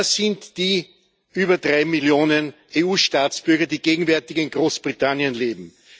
Das sind die über drei Millionen EU-Staatsbürger, die gegenwärtig in Großbritannien leben.